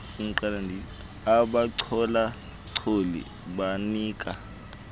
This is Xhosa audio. abachola choli abanika